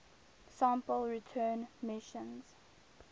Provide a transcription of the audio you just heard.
sample return missions